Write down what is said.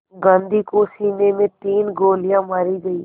गांधी को सीने में तीन गोलियां मारी गईं